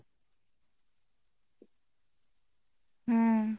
হম।